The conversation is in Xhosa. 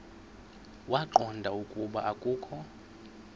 waqonda ukuba akokho